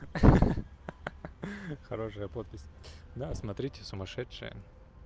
ха-ха-ха хорошая подпись да смотрите сумасшедшая